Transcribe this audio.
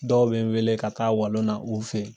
Dɔw be n wele ka taa walon na u fe yen.